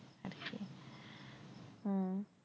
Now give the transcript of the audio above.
হম